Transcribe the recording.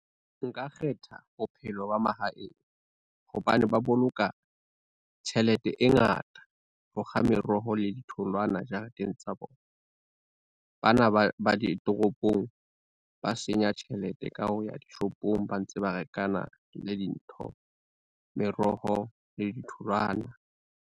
Nka kgetha bophelo ba mahaeng, hobane ba boloka, tjhelete e ngata ho kga meroho le ditholwana jareteng tsa bona. Bana ba ditoropong, ba senya tjhelete ka ho ya dishopong ba ntse ba rekana le dintho, meroho le ditholwana.